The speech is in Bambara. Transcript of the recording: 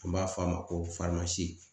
An b'a f'a ma ko